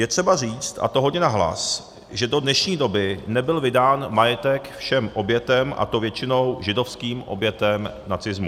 Je třeba říct, a to hodně nahlas, že do dnešní doby nebyl vydán majetek všem obětem, a to většinou židovským obětem nacismu.